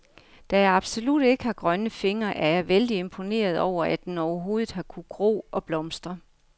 Da jeg absolut ikke har grønne fingre, er jeg vældig imponeret over, at den overhovedet har kunnet gro og blomstre.